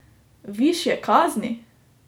Višje kazni?